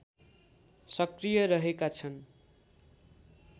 सक्रिय रहेका छन्